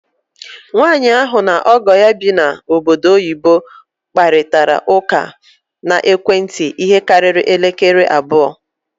Nwanyị ahụ na ọgọ ya bi na ọbọdọ oyibo kparịtara ụkọ na ekwentị ihe karịrị elekere anya abụọ.